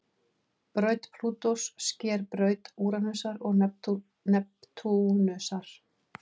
Braut Plútós sker braut Úranusar og Neptúnusar.